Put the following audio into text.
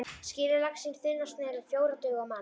Skerið laxinn í þunnar sneiðar, um fjórar duga á mann.